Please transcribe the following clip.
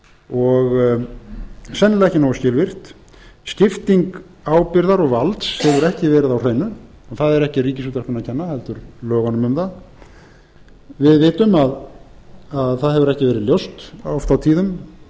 og sennilega ekki nógu skilvirkt skipting ábyrgðar og valds hefur ekki verið á hreinu það er ekki ríkisútvarpinu að kenna heldur lögunum um það við vitum að það hefur ekki verið ljóst oft og tíðum